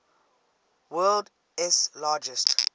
world s largest